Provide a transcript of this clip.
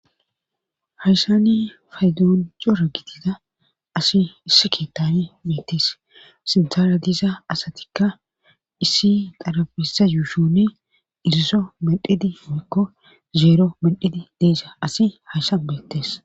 Haysani faydoon joro gitida asi issi keettane meettes sintara diiza asatikka issi darabissa yuushone iriso mendhidi meykko zeero mendidi deeza asi hayssan beettes